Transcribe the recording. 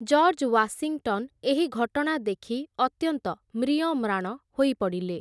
George Washington ଏହି ଘଟଣା ଦେଖି ଅତ୍ୟନ୍ତ ମ୍ରିୟମ୍ରାଣ ହୋଇପଡ଼ିଲେ ।